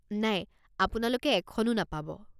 নাই, আপোনালোকে এখনো নাপাব।